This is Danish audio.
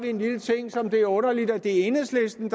en lille ting som det er underligt at enhedslisten